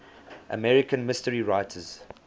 american mystery writers